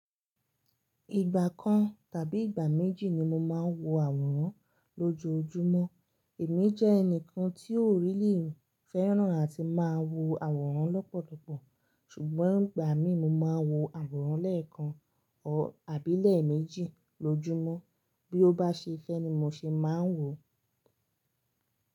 Ìgbà kan tàbí ìgbà méjì ni mo máa ń wo àwòrán lójoojúmọ́, èmi jẹ́ ẹnìkan tíò really fẹ́ràn àti máa wo àwòrán lọ́pọ̀lọpọ̀ ṣùgbọ́n ìgbà mí mo máa wo àwòrán lẹ́ẹ̀kan àbí lẹ́ẹ̀ méjì lójúmọ́ bí ó bá ṣe fẹ́ ni mo ṣe máa ń wò ó.